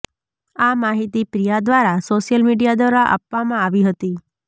આ માહિતી પ્રિયા દ્વારા સોશિયલ મીડિયા દ્વારા આપવામાં આવી હતી